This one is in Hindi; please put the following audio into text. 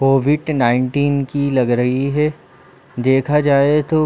कोविड नाइनटीन की लग रही है देखा जाये तो--